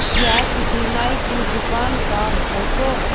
यह किसी नाई की दुकान का फोटो --